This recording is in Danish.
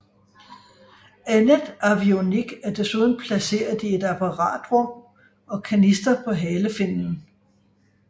Andet avionik er desuden placeret i et apparatrum og kanister på halefinnen